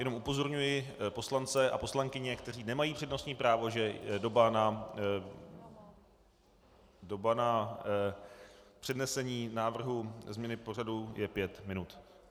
Jenom upozorňuji poslance a poslankyně, kteří nemají přednostní právo, že doba na přednesení návrhu změny pořadu je pět minut.